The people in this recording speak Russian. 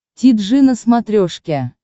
ти джи на смотрешке